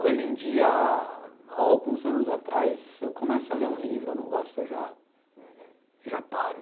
Hoje em dia, alguns anos atrás, eu começo a ler um livro, eu não gosto, eu já já paro.